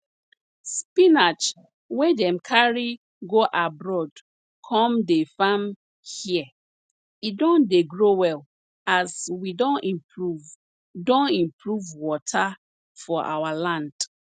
spinach wey dem carry go abroad come dey farm here e don dey grow well as we don improve don improve water for our land